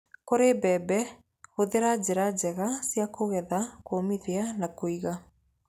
Kũrĩ mbembe hũthĩre njĩra njega cia kũgetha, kũũmithia, na kũiga.